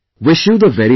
Wish you the very best